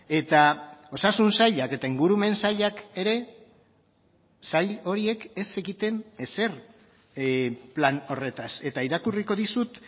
eta osasun sailak eta ingurumen sailak ere sail horiek ez zekiten ezer plan horretaz eta irakurriko dizut